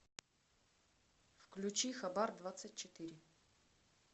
включи хабар двадцать четыре